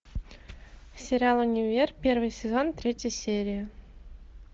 сериал универ первый сезон третья серия